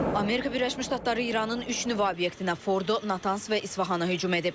Amerika Birləşmiş Ştatları İranın üç nüvə obyektinə, Fordo, Natans və İsfahana hücum edib.